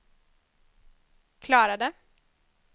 klarade